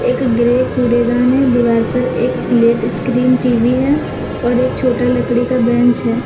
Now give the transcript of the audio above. एक ग्रे कूड़ेदान है दीवार पर एक प्लेट स्क्रीन टी_वी है और एक छोटा लकड़ी का बेंच है।